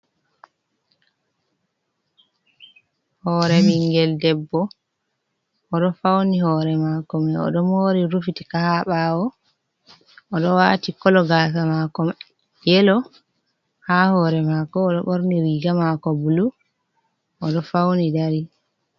Hore bingel debbo, odo fauni hore mako mai odo mori rufitika ha bawo, odo wati kolo gasa makoa yelo ha hore mako, odo borni riga mako bulu odo fauni Dari.